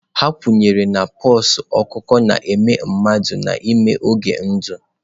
A kwenyere na pox ọkụkọ na-eme mmadụ n'ime oge ndụ.